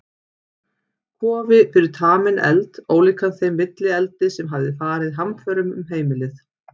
Kofi fyrir taminn eld, ólíkan þeim villieldi sem hafði farið hamförum um heimilið.